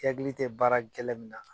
I hakili tɛ baara gɛlɛn min na